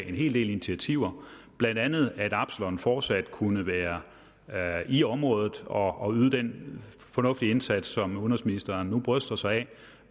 en hel del initiativer blandt andet til at absalon fortsat kunne være i området og yde den fornuftige indsats som udenrigsministeren nu bryster sig